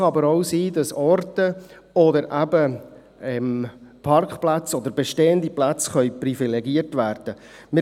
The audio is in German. Es kann aber auch sein, dass Orte oder eben Parkplätze oder bestehende Plätze privilegiert werden können.